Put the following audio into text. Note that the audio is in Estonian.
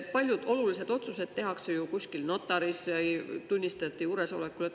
Paljud olulised otsused tehakse kusagil notaris tunnistajate juuresolekul.